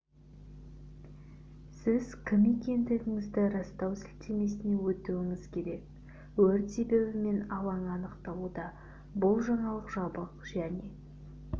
сіз кім екендігіңізді растау сілтемесіне өтуіңіз керек өрт себебі мен алаңы анықталуда бұл жаңалық жабық және